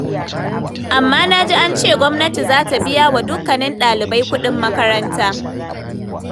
Amma na ji an ce gwamnati za ta biya wa dukkanin ɗalibai kuɗin makaranta.